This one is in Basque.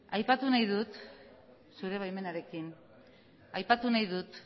aipatu nahi dut zure baimenarekin aipatu nahi dut